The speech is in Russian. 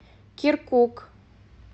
киркук